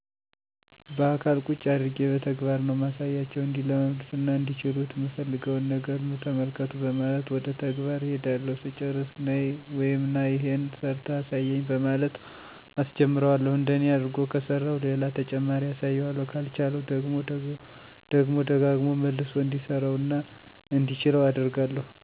ባአካል ቁጭ አድርጌ በተግባር ነው ማሳያቸው። እንዲለምዱትና እንዲችሉት ምፈልገውን ነገር ኑ ተመልከቱ በማለት ወደ ተግባር እሄዳለሁ ስጨርስ ነይ/ና ይሄን ሰርተህ አሳየኝ በማለት አሰጀምረዋለሁ እንደኔ አርጎ ከሰራው ሌላ ተጨማሪ አሳየዋለሁ ካልቻለው ደግሞ ደግሞ ደጋግሞ መልሶ እንዲሰራው እና እንዲችለው አደርጋለሁ።